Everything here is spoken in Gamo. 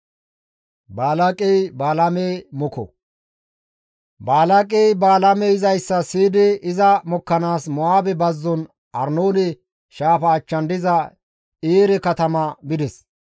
Balaaqey Balaamey yizayssa siyidi iza mokkanaas Mo7aabe bazzon Arnoone shaafa achchan diza Eere katama bides.